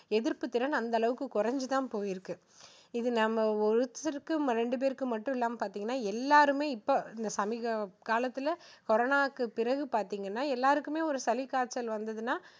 எதிர்ப்பு திறன் அந்த அளவுக்கு குறைஞ்சுதான் போயிருக்கு. இது நம்ம ஒருத்தருக்கு ரெண்டு பேருக்கு மட்டும் இல்லாம பார்த்தீங்கன்னா எல்லாருமே இப்போ இன்னைக்கு காலத்துல கொரோனாக்கு பிறகு பார்த்தீங்கன்னா எல்லாருக்குமே ஒரு சளி காய்ச்சல் வந்துதுன்னா